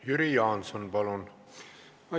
Jüri Jaanson, palun!